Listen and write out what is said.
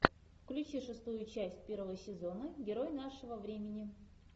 включи шестую часть первого сезона герой нашего времени